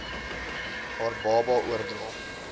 haar baba oordra